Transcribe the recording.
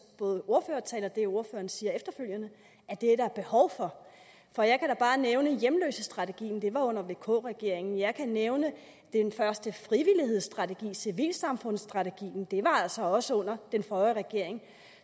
tale og det ordføreren siger efterfølgende at det er der behov for og jeg kan da bare nævne hjemløsestrategien det var jo under vk regeringen og jeg kan nævne den første frivillighedsstrategi civilsamfundsstrategien og det var altså også under den forrige regering